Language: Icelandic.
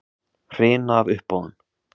Hrina af uppboðum